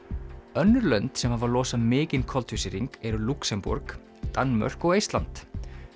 önnur lönd sem hafa losað mikinn koltvísýring eru Lúxemborg Danmörk og Eistland